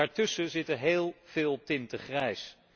Daartussen zitten heel veel tinten grijs.